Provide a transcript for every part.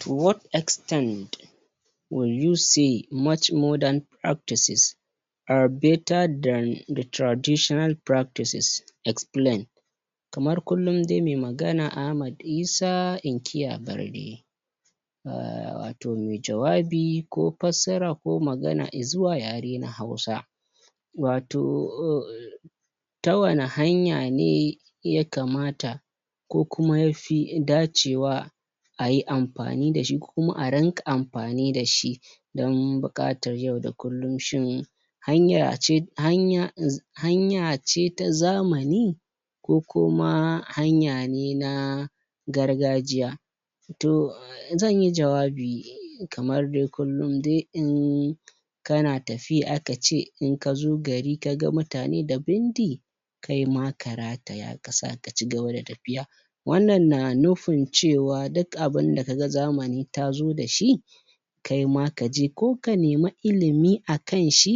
To what extent will you see much more better than the traditional practice. kamar kullun de mai magana Ahmad Isa inkiya barde um to me jawabi ko passara ko magana izuwa yare na hausa wato um ta wani hanya ne yakamata ko kuma yafi dacewa ayi ampani dashi ko kuma a rinƙa ampani dashi don buƙatar yau da kullum shine hanya ce hanya za hanya ce ta zamani ko kuma hanya ne na gargajiya to zanyi jawabi kamar de kullun de um kana tafiya akace in kazo gari kaga mutane da bindi kaima ka rataya ka sa ka cigaba da tapiya wannan na nufin cewa duk abinda kaga zamani tazo dashi kaima kaje ko ka nemi ilimi akan shi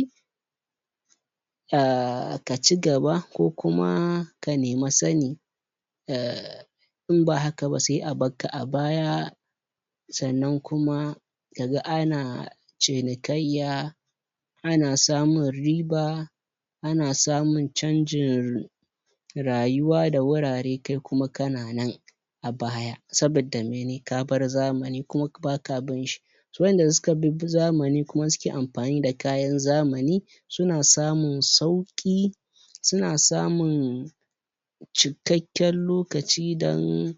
um ka cigaba ko kuma ka nema sani um in ba haka ba sai a bakka a baya sannan kuma kaga ana cinikayya ana samun riba ana samun chanjin rayuwa da wurare kai kuma kana nan a baya sabidda mene ka bar zamani kuma baka bin shi wa'inda suka bibbi zamani kuma suke ampani da kayan zamani suna samun sauƙi suna samun cikakken lokaci dan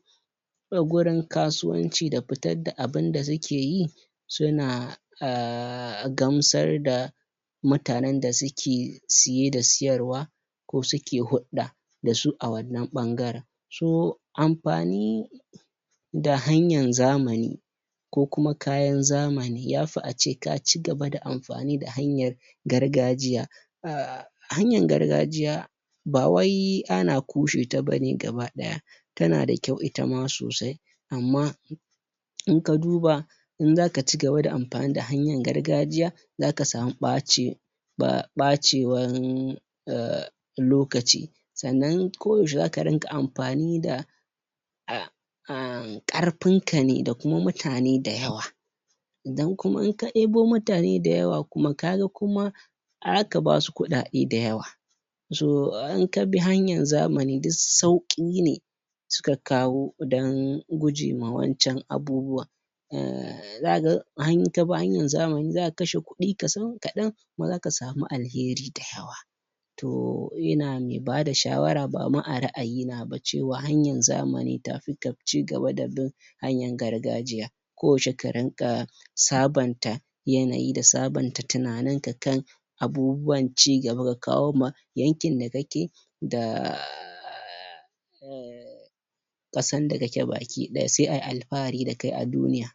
gurin kasuwanci da fitar da abinda sukeyi suna um gamsar da mutanen da suke siye da siyarwa ko suke huɗɗa dasu a wannan ɓangaren su ampani da hanyan zamani ko kuma kayan zamani yafi ace ka cigaba da ampani da hanyan gargajiya um hanyan gargajiya ba wai ana kushe ta bane gaba ɗaya tana da kyau itama sosai amma in ka duba in zaka cigaba da ampani da hanyan gargajiya zaka samu ɓaci ba ɓacewan um lokaci sannan koyaushe zaka rinƙa ampani da um ƙarpin ta da kuma mutane dayawa idan kuma in ka debo mutane dayawa kuma ga kuma a haka ba wasu kuɗaɗe dayawa so in ka bi hanyan zamani duk sauƙi ne suka kawo don guje ma wancan abubuwan um zaka ga han in kabi hanayn zamani zaka kashe kuɗi kasan kaɗan kuma zaka samu alheri dayawa toh ina me bada shawara ba ma a ra'ayina ba cewa hanyan zamani tafi ka cigaba da bin hanayan gargajiya koyaushe ka rinƙa sabanta yanayi da sabanta tinaninka kan abubuwan cigaba ka kawo ma yankin da kake da um ƙasan da kake baki ɗaya sai ayi alpahari da kai a duniya.